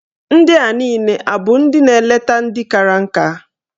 Ndị a niile abụ ndị na-eleta ndị kara nka?